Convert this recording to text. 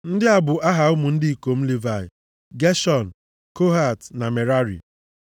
Ndị a bụ aha ụmụ ndị ikom Livayị: Geshọn, Kohat na Merari.